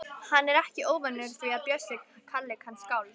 Hann er ekki óvanur því að Bjössi kalli hann skáld.